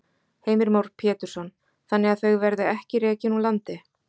Heimir Már Pétursson: Þannig að þau verði ekki rekin úr landi?